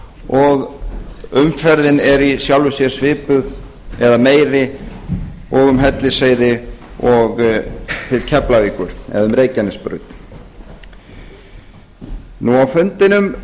og umferðin er í sjálfu sér svipuð eða meiri og um hellisheiði og til keflavíkur eða um reykjanesbraut á fundinum